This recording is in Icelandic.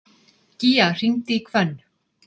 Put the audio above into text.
Gía, hringdu í Hvönn.